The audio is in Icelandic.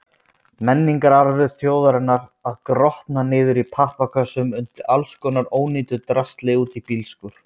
Menningararfur þjóðarinnar að grotna niður í pappakössum undir allskonar ónýtu drasli úti í bílskúr!